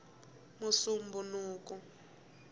musumbhunuku